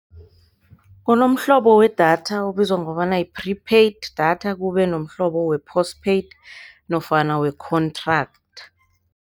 Kunomhlobo wedatha obizwa kobana yi-prepaid data, kubenomhlobo we-post paid nofana we-contract.